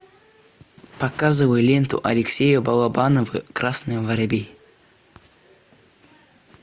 показывай ленту алексея балабанова красный воробей